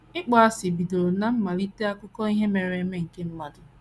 ỊKPỌASỊ bidoro ná mmalite akụkọ ihe mere eme nke mmadụ.